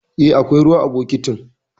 E, akwai ruwa a bokitin.